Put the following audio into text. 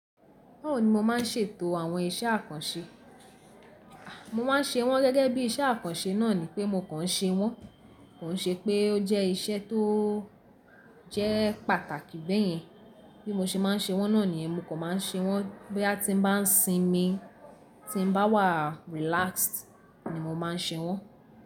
Báwo ni mo má ń ṣètò àwọn iṣẹ́ àkànṣe? Mo má n ṣe wọ́n gẹ́gẹ́ bí iṣẹ́ àkànṣe náà ni pé mo kàn ṣe wọ́n. Kò ṣe pé ó jẹ́ iṣẹ́ tó jẹ́ pàtàkì bẹ́ẹ̀ yẹn. Bí mo ṣe má n ṣe wọ́n náà nìyẹn mo kàn má n ṣe wọ́n. Bí a ti n bá sin mi, tí n bá wà relaxed ni mo má n ṣe wọ́n.